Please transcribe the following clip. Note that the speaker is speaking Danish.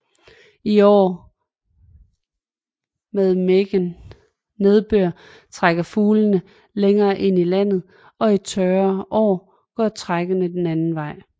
I år med megen nedbør trækker fuglene længere ind i landet og i tørre år går trækket den anden vej